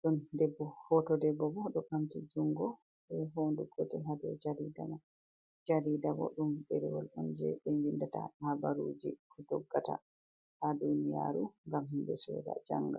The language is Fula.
Ɗon debbo, hoto debbo bo ɗo ɓamti jungo, be hondu gotel haa dou jariida man. Jariida bo ɗum ɗerewol on jei ɓe windata habaruuji ko doggata haa duniyaaru, ngam himɓe sooda janga.